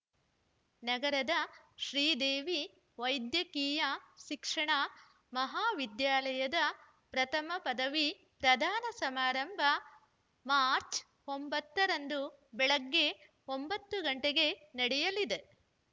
ನಗರದ ಶ್ರೀದೇವಿ ವೈದ್ಯಕೀಯ ಶಿಕ್ಷಣ ಮಹಾವಿದ್ಯಾಲಯದ ಪ್ರಥಮ ಪದವಿ ಪ್ರದಾನ ಸಮಾರಂಭ ಮಾರ್ಚ್ ಒಂಬತ್ತ ರಂದು ಬೆಳಗ್ಗೆ ಒಂಬತ್ತು ಗಂಟೆಗೆ ನಡೆಯಲಿದೆ